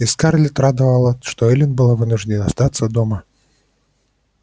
и скарлетт радовало что эллин была вынуждена остаться дома